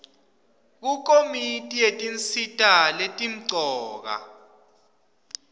kukomiti yetinsita letimcoka